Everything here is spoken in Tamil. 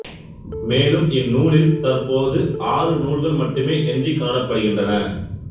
மேலும் இந்நூலில் தற்போது ஆறு நூல்கள் மட்டுமே எஞ்சிக் காணப்படுகின்றன